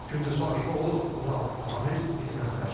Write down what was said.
Gündüz Vaqifoğlu, Zaur Ağamir, İTV xəbər.